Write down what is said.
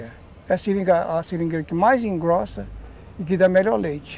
é a seringa que mais engrossa e que dá melhor leite.